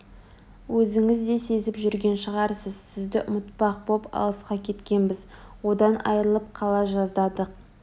Өзіңіз де сезіп жүрген шығарсыз сізді ұмытпақ боп алысқа кеткенбіз одан айрылып қала жаздадық